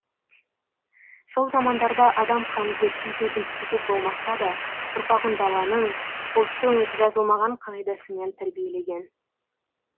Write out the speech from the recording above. сол замандарда адам қанын зерттейтін институт болмаса да ұрпағын даланың ұлттың жазылмаған қағидасымен тәрбиелеген